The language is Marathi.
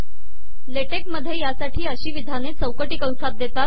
लेटेक मधे यासाठी अशी िवधाने चौकटी कसात देतात